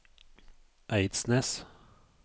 Eidsnes